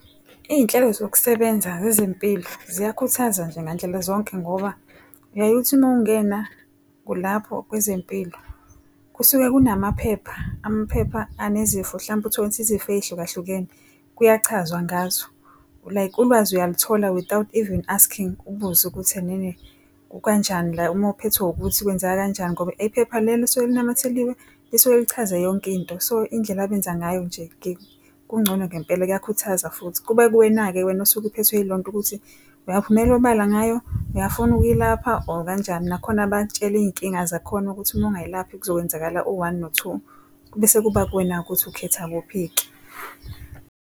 Iy'nhlelo zokusebenza zezempilo ziyakhuthaza nje ngandlela zonke ngoba uyaye uthi uma ungena lapho kwezempilo kusuke kunamaphepha, amaphepha anezifo mhlampe utholukuthi izifo ey'hluka hlukene kuyachazwa ngazo. Like ulwazi uyalithola without even asking ubuze ukuthi enene kukanjani la uma uphethwe ukuthi kwenzeke kanjani ngoba ephepha lelo lisuke linamathelisiwe, lisuke lichaze yonke into. So indlela abenza ngayo nje kungcono ngempela kuyakhuthaza futhi. Kuba kuwena-ke wena osuke uphethwe yilonto ukuthi uyaphumela obala ngayo, uyafuna ukuyilapha or kanjani. Nakhona bayakutshela iy'nkinga zakhona ukuthi uma ungayilaphi kuzokwenzakala u-one no-two. Bese kuba kuwena-ke ukuthi ukhetha kuphi-ke.